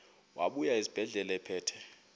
wabuya esibedlela ephethe